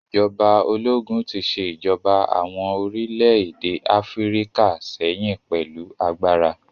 Ìjọba ológun tí ṣe ìjọba àwọn orílẹ̀-èdè Áfíríkà sẹ́yìn pẹ̀lú agbára